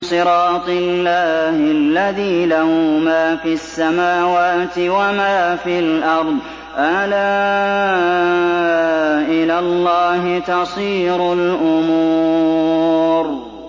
صِرَاطِ اللَّهِ الَّذِي لَهُ مَا فِي السَّمَاوَاتِ وَمَا فِي الْأَرْضِ ۗ أَلَا إِلَى اللَّهِ تَصِيرُ الْأُمُورُ